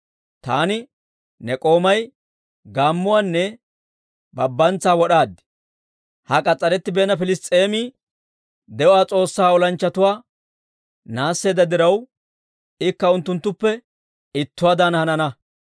Taani ne k'oomay gaammuwaanne babbantsa wod'aad; ha k'as's'arettibeenna Piliss's'eemi de'uwaa S'oossaa olanchchatuwaa naasseedda diraw, ikka unttunttuppe ittuwaadan hanana.